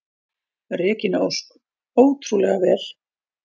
Regína Ósk: Ótrúlega vel.